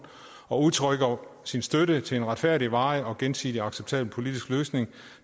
og udtrykker sin støtte til en retfærdig varig og gensidigt acceptabel politisk løsning